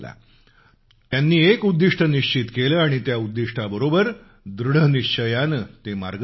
त्यांनी एक उद्दिष्ट निश्चित केलं आणि त्या उद्दिष्टाबरोबर दृढनिश्चयानं ते मार्गस्थ झाले